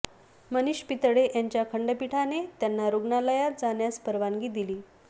मनीष पितळे यांच्या खंडपीठाने त्यांना रुग्णालयात जाण्यास परवानगी दिली